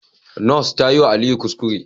Nurse tayiwa Aliyu kuskure